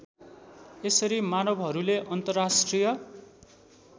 यसरी मानवहरूले अन्तर्राष्ट्रिय